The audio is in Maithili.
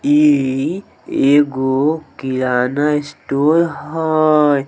इ एगो किराना स्टोर हेय।